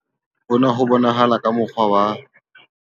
Hona ho bonahala ka mo kgwa wa.